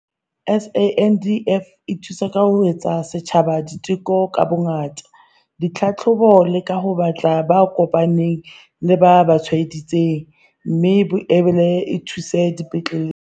SANDF e thusa ka ho etsa setjhaba diteko ka bongata, ditlhahlobo le ka ho batla ba kopaneng le ba tshwaedi tsweng, mme e boela e thuso dipetleleng.